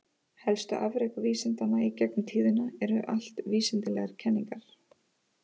Helstu afrek vísindanna í gegnum tíðina eru allt vísindalegar kenningar.